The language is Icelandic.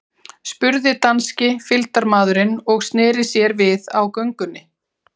spurði danski fylgdarmaðurinn og sneri sér við á göngunni.